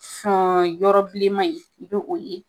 san yɔrɔ bilenman in i bɛ o ye